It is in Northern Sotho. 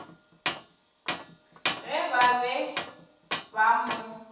ge ba be ba mo